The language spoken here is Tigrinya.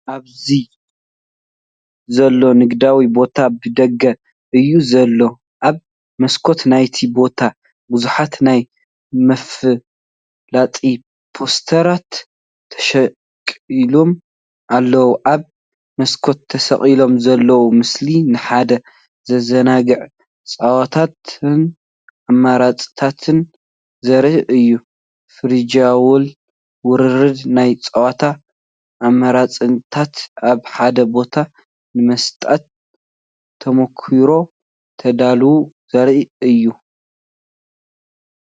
ኣብዚ ዘሎ ንግዳዊ ቦታ ብደገ እዩ ዘሎ። ኣብ መስኮት ናይቲ ቦታ ብዙሓት ናይ መፈላጢፖስተራት ተሸኺሎም ኣለዉ። ኣብ መስኮት ተሰቒሉ ዘሎ ምስሊ፡ንሓደ ዘዘናግዕ ጸወታን ኣማራጺታት ዘርኢ እዩ። ቨርቹዋል ውርርድ ናይ ጸወታ ኣማራጺታት ኣብ ሓደ ቦታ፣ ንመሳጢ ተመክሮ ተዳለዉ! ዘርኢ እዩ።